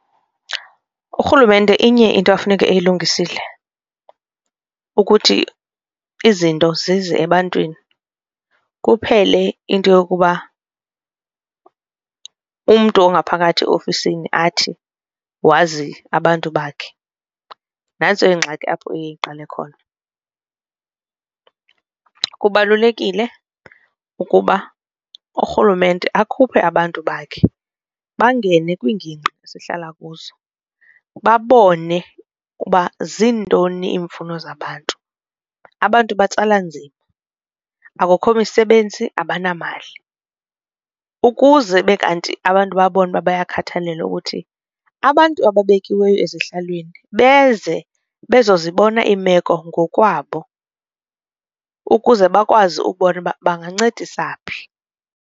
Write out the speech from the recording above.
Urhulumente inye into afuneka eyilungisile ukuthi izinto zize ebantwini kuphele into yokuba umntu ongaphakathi ofisini athi wazi abantu bakhe, nantso ingxaki apho iye iqale khona. Kubalulekile ukuba urhulumente akhuphe abantu bakhe bangene kwiingingqi gqithi sihlala kuzo babone uba zintoni iimfuno zabantu, abantu batsala nzima akukho misebenzi abanamali. Ukuze ube kanti abantu babone ukuba bayabakhathalelwa ukuthi abantu ababekiweyo ezihlalweni beze bezozibona iimeko ngokwabo ukuze bakwazi ubona uba bangancedisa phi.